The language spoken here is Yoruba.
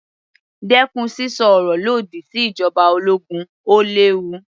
Dẹ́kun sísọ ọ̀rọ̀ lòdì sí ìjoba ológun, ó léwu.